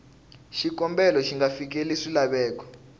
xikombelo xi nga fikeleli swilaveko